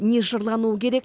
не жырлануы керек